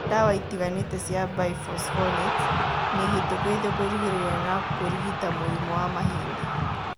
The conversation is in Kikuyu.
Ndawa itiganĩte cia biphosphonates nĩihĩtũkĩtio kũrigĩrĩria na kũrigita mũrimũ wa mahĩndĩ